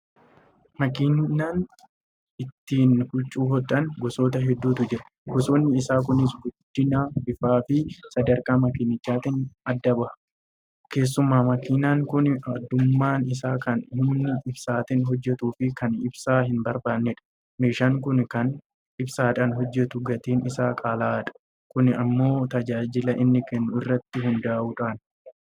Makiinaan ittiin huccuu hodhan gosoota hedduutu jira. Gosoonni isaa kunis guddina, bifaafi sadarkaa makiinichaatiin adda baha. Keessumaa makiinaan kun addummaan isaa kan humna ibsaatiin hojjetuufi kan ibsaa hinbarbaannedha. Meeshaan kun kan ibsaadhaan hojjetu gatiin isaa qaala'aadha. Kun immoo tajaajila inni kennu irratti hundaa'uudhaani.